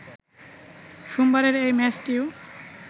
সোমবারের এই ম্যাচটিও